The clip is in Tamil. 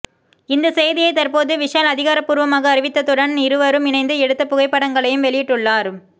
இந்த செய்தியை தற்போது விஷால் அதிகாரபூர்வமாக அறிவித்ததுடன் இருவரும் இணைந்து எடுத்த புகைப்படங்களையும் வெளியிட்டுள்ளார்